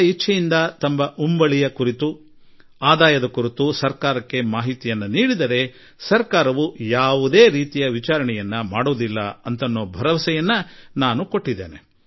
ಸ್ವ ಇಚ್ಛೆಯಿಂದ ತಮ್ಮ ಗೌಪ್ಯ ಆಸ್ತಿ ಅಘೋಷಿತ ಆದಾಯ ಕುರಿತು ಸರ್ಕಾರಕ್ಕೆ ತಮ್ಮ ಮಾಹಿತಿ ನೀಡುವವರಿಗೆ ಸರ್ಕಾರ ಯಾವುದೇ ರೀತಿಯಲ್ಲೂ ತನಿಖೆ ಮಾಡಿಸುವುದಿಲ್ಲ ಎಂದೂ ನಾನು ಭರವಸೆ ನೀಡಿರುವೆ